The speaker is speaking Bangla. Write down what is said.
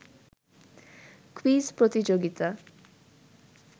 কুইজ প্রতিযোগিতা